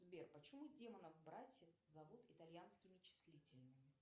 сбер почему демонов братьев зовут итальянскими числительными